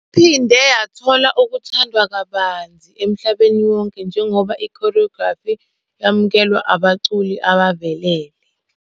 Iphinde yathola ukuthandwa kabanzi emhlabeni wonke njengoba i-choreography yamukelwa abaculi abavelele.